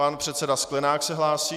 Pan předseda Sklenák se hlásí.